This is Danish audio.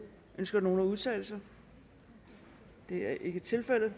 ønsker nogen at udtale sig det er ikke tilfældet